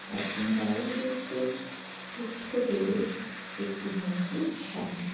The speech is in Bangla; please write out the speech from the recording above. আর তিনি দাঁড়িয়ে রয়েছেন বুদ্ধদেবের একটি মুহূর্তের সামনে।